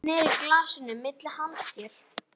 Hann sneri glasinu milli handa sér.